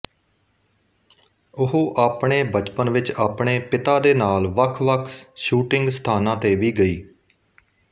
ਉਹ ਆਪਣੇ ਬਚਪਨ ਵਿੱਚ ਆਪਣੇ ਪਿਤਾ ਦੇ ਨਾਲ ਵੱਖ ਵੱਖ ਸ਼ੂਟਿੰਗ ਸਥਾਨਾਂ ਤੇ ਵੀ ਗਈ